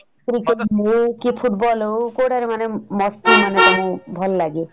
cricket ହଉ କି football ହଉ କଉଟାରେ ମାନେ ମସ୍ତି ମାନେ ତମକୁ ଭଲ ଲାଗେ ?